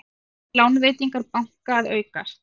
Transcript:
Lánveitingar banka að aukast